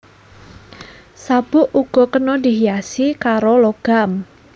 Sabuk uga kena dihiasi karo logam